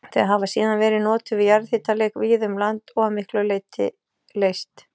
Þau hafa síðan verið notuð við jarðhitaleit víða um land og að miklu leyti leyst